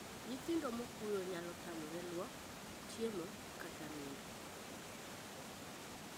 Nyithindo mokuyo nyalo tamore luok, chiemo, kata nindo.